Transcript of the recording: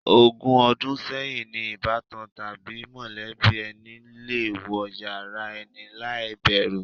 Ogún o̩dún sé̩yìn ni ìbátan tàbí mò̩lé̩bí e̩ni le wo̩ yàrá e̩ni láì bè̩rù.